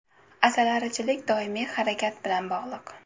Asalarichilik doimiy harakat bilan bog‘liq.